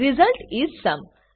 result is sum